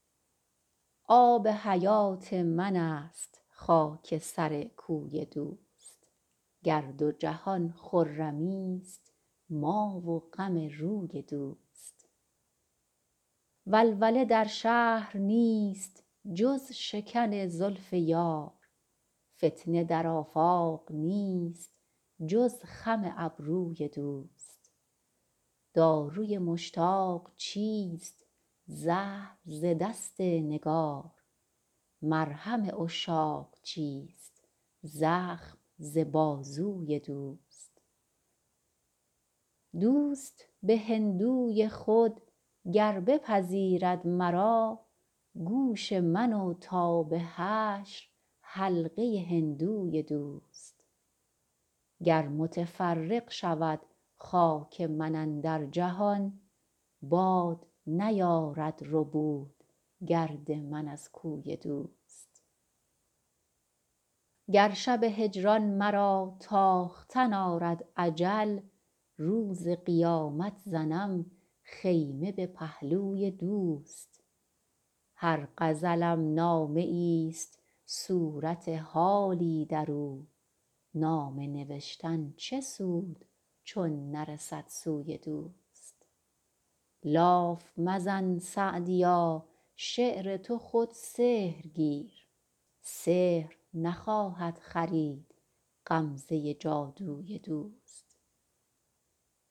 آب حیات من است خاک سر کوی دوست گر دو جهان خرمیست ما و غم روی دوست ولوله در شهر نیست جز شکن زلف یار فتنه در آفاق نیست جز خم ابروی دوست داروی مشتاق چیست زهر ز دست نگار مرهم عشاق چیست زخم ز بازوی دوست دوست به هندوی خود گر بپذیرد مرا گوش من و تا به حشر حلقه هندوی دوست گر متفرق شود خاک من اندر جهان باد نیارد ربود گرد من از کوی دوست گر شب هجران مرا تاختن آرد اجل روز قیامت زنم خیمه به پهلوی دوست هر غزلم نامه ایست صورت حالی در او نامه نوشتن چه سود چون نرسد سوی دوست لاف مزن سعدیا شعر تو خود سحر گیر سحر نخواهد خرید غمزه جادوی دوست